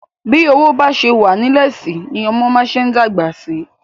Bi owó ba ṣe wa nilẹ si ni ọmọ ma ṣe dagba sí.